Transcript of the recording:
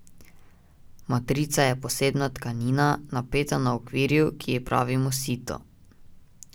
Matrica je posebna tkanina, napeta na okvirju, ki ji pravimo sito.